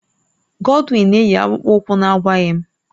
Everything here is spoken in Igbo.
Godwin na-eyi akpụkpọ ụkwụ na-agwaghị m